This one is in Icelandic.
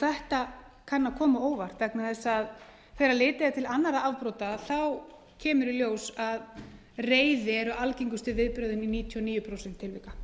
þetta kann að koma á óvart vegna þess að þegar litið er til annarra afbrota kemur í ljós að reiði er algengustu viðbrögðin í níutíu og níu prósent tilvika